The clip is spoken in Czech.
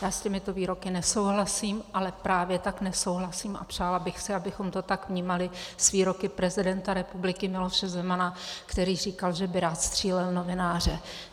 Já s těmito výroky nesouhlasím, ale právě tak nesouhlasím a přála bych si, abychom to tak vnímali, s výroky prezidenta republiky Miloše Zemana, který říkal, že by rád střílel novináře.